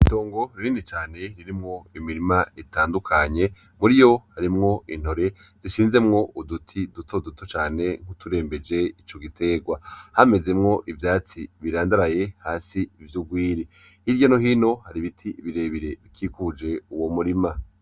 Itongo rinini cane ririmwo imirima itandukanye. Muriyo harimwo intore zishinzemwo uduti dutoduto cane turembeje ico giterwa .Hamezemwo ivyatsi birandaraye hasi vy'urwiri hirya no hino hari ibiti birebire bikikuje uwo murima.